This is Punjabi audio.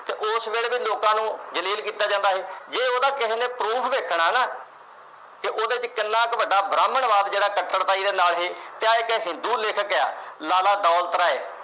ਕਿਵੇਂ ਲੋਕਾਂ ਨੂੰ ਜਲੀਲ ਕੀਤਾ ਜਾਂਦਾ ਸੀ। ਜੇ ਉਹਦਾ ਕਿਸੇ ਨੇ proof ਦੇਖਣਾ ਨਾ ਤੇ ਉਹਦੇ ਵਿੱਚ ਕਿੰਨਾ ਕ ਵੱਡਾ ਬ੍ਰਾਹਮਣਵਾਦ ਸੀ ਜਿਹੜਾ ਤੇ ਆ ਜਿਹੜਾ ਸਿੱਧੂ ਲੇਖਕ ਆ, ਲਾਲਾ ਦੌਲਤ ਰਾਏ।